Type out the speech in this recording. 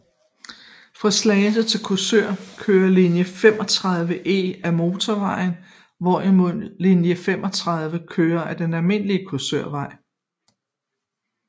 Fra Slagelse til Korsør kørte linje 35E af motorvejen hvorimod linje 35 kørte af den almindelige Korsørvej